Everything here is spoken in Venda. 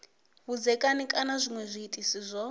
vhudzekani kana zwinwe zwiitisi zwo